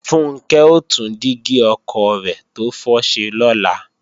Funkẹ́ ó tún dígí ọkọ̀ rẹ̀ tó fọ́ ṣe lọ́la